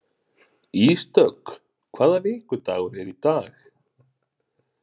Ísdögg, hvaða vikudagur er í dag?